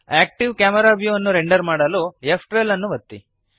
active camera view ಅನ್ನು render ಮಾಡಲು ಫ್12 ಅನ್ನು ಒತ್ತಿರಿ